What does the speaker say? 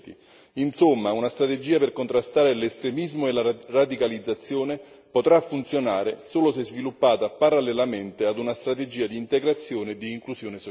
Insomma, una strategia per contrastare l'estremismo e la radicalizzazione potrà funzionare solo se sviluppata parallelamente ad una strategia di integrazione e di inclusione sociale.